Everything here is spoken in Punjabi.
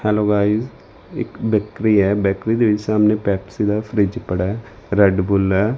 ਹੈਲੋ ਗਾਈਜ ਇੱਕ ਬੈਕਰੀ ਏ ਬੈਕਰੀ ਦੇ ਵਿੱਚ ਸਾਹਮਣੇ ਪੈਪਸੀ ਦਾ ਫਰਿਜ ਪੜਾ ਰੈਡ ਬੁਲ ਏ।